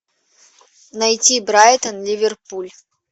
найти брайтон ливерпуль